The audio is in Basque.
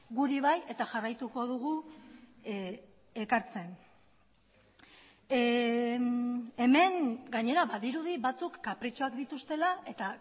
guri bai eta jarraituko dugu ekartzen hemen gainera badirudi batzuk kapritxoak dituztela eta